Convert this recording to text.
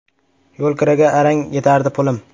Yo‘lkiraga arang yetardi pulim.